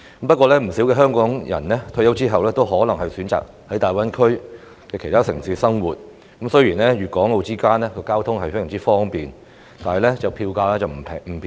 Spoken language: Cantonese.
不過，有不少香港人退休後可能選擇在大灣區的其他城市生活，雖然粵港澳間的交通非常方便，但票價並不便宜。